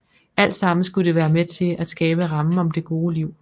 Alt sammen skulle det være med til at skabe rammen om det gode liv